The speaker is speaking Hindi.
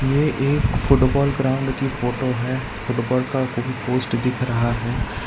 यह एक फुटबॉल ग्राउंड की फोटो है फुटबॉल का कोई पोस्ट दिख रहा है।